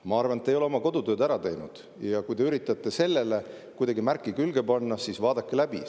Ma arvan, et te ei ole oma kodutööd ära teinud, ja kui te üritate sellele kuidagi märki külge panna, siis vaadake see läbi.